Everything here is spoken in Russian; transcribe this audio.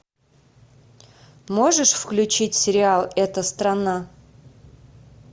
можешь включить сериал эта страна